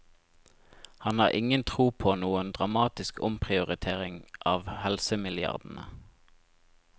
Han har ingen tro på noen dramatisk omprioritering av helsemilliardene.